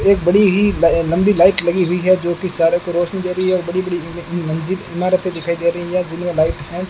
एक बड़ी ही लंबी लाइट लगी हुई है जोकि सारे को रोशनी दे रही है और बड़ी बड़ी ई मंजिल इमारतें दिखाई दे रही है जिनमें लाइट है।